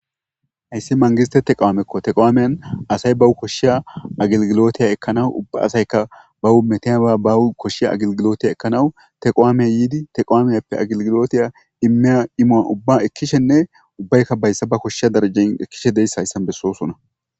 hayssi mangiztete qawaamekko teqawaamieyan asay bawu koshshiya agilgilotiya ekkanawu ubba asayka bahu metiya ba bawu koshshiya agilgilootiya ekkanawu teqowaamey yiidi teqawaamiyappe agilgilotiya imeya imoa ubba ekkishenne ubbaykka bayssa ba koshsh darajen ekkishe deyssa hayssan bessoosona